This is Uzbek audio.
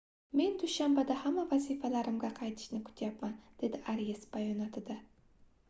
men dushanbada hamma vazifalarimga qaytishni kutyapman - dedi arias bayonotida